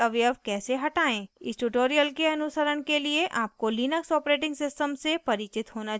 इस tutorial के अनुसरण के लिए आपको लिनक्स operating system से परिचित होना चाहिए